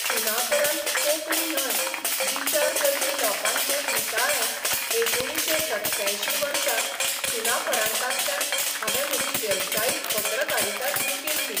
सुनापरान्त 'कोंकणी 'न्हय, 'विचार करपी 'लोकांचें दिसाळें एकुणशे सत्त्यांयशीं वर्सा सुनापरान्तांतल्यान हावें म्हजी वेवसायीक पत्रकारिता सुरू केल्ली.